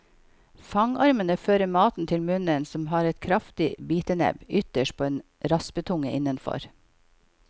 Fangarmene fører maten til munnen som har et kraftig bitenebb ytterst og en raspetunge innenfor.